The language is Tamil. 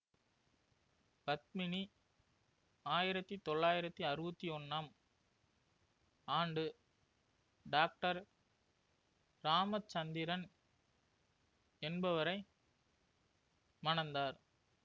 பத்மினி ஆயிரத்தி தொள்ளாயிரத்தி அறுவத்தி ஒன்னாம் ஆண்டு டாக்டர் இராமச்சந்திரன் என்பவரை மணந்தார்